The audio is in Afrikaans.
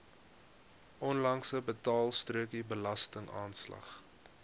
onlangse betaalstrokie belastingaanslag